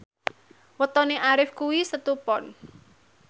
wetone Arif kuwi Setu Pon